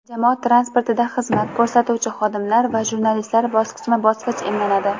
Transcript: jamoat transportida xizmat ko‘rsatuvchi xodimlar va jurnalistlar bosqichma-bosqich emlanadi.